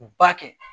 Ba kɛ